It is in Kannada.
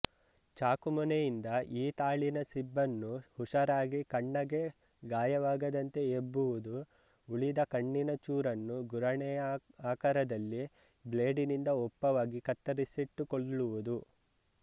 ಚಾಕುಮೊನೆಯಿಂದ ಈ ತಾಳಿನ ಸಿಬನ್ನು ಹುಷಾರಾಗಿ ಕಣ್ಣಗೆ ಗಾಯವಾಗದಂತೆ ಎಬ್ಬುವುದು ಉಳಿದ ಕಣ್ಣಿನ ಚೂರನ್ನು ಗುರಾಣೆಯಅಕಾರದಲ್ಲಿ ಬ್ಲೇಡಿನಿಂದ ಒಪ್ಪವಾಗಿ ಕತ್ತರಿಸಿಟ್ಟುಕೊಲ್ಳುವುದು